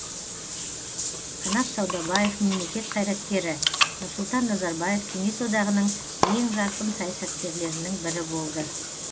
қанат саудабаев мемлекет қайраткері нұрсұлтан назарбаев кеңес одағының ең жарқын саясаткерлерінің бірі болды